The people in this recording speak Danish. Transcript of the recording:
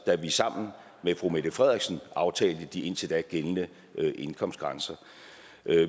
da vi sammen med fru mette frederiksen aftalte de indtil da gældende indkomstgrænser